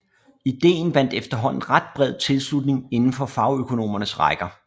Ideen vandt efterhånden ret bred tilslutning indenfor fagøkonomernes rækker